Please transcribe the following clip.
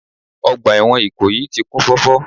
Ọgbà ẹ̀wọ̀n Ìkòyí ti kún fọ́fọ́